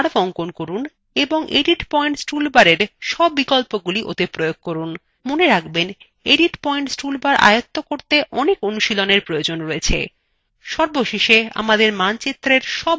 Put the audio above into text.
একটি curve অঙ্কন করুন এবং edit পয়েন্টস toolbarএর সব বিকল্পগুলি ওতে প্রয়োগ করুন মনে রাখবেন edit পয়েন্টস toolbar আয়ত্ত করতে অনেক অনুশীলনের প্রয়োজন